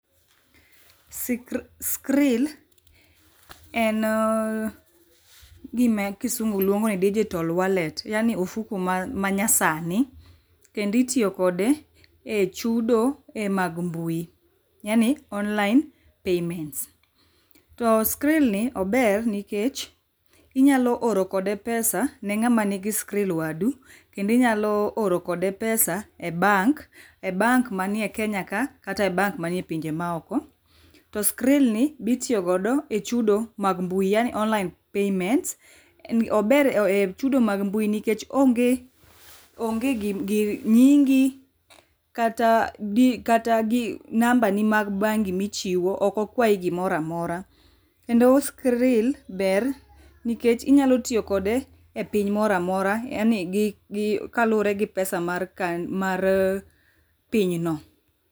Sikri skrill ennn gima kisungu luongoni digital wallet. Yano ofuku manyasani kendo itiyo kode echudo e mag mbui. yani online payments. To skirllni ober nikech inyalo oro kode pesa ne ng'ama nigi skiril wadu. Kendo inyaloo oro kode pesa e bank. E bank manie e kenyaka kata e bank manie pinje maoko. To skirilni bitiyo godo echudo mag mbui yani online payments ober e chudo mag mbui nikech onge onge gi gir nyingi kata di kata gi nambani mag bangi michiwo ok okwayi gimoro amora. Kendo skiril ber nikech inyalo tiyo kode epiny moro amora yani gi gi kaluregi pesa mar kan marr pinyno.